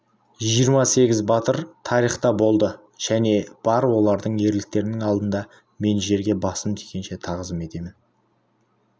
жиырма сегіз батыр тарихта болды және бар олардың ерліктерінің алдында мен жерге басым тигенше тағзым етемін